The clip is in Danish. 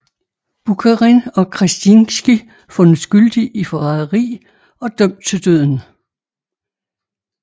Bukharin og Krestinskij fundet skyldig i forræderi og dømt til døden